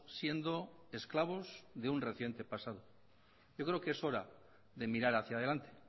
siendo esclavos de un reciente pasado yo creo que es hora de mirar hacia adelante